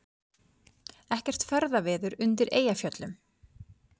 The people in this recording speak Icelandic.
Ekkert ferðaveður undir Eyjafjöllum